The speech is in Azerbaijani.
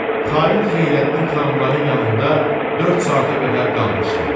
Xain Xeyrəddin xanımların yanında dörd saata qədər qalmışdı.